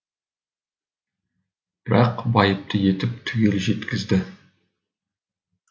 бірақ байыпты етіп түгел жеткізді